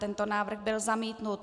Tento návrh byl zamítnut.